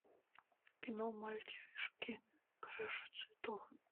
кино мальчишки краше цветов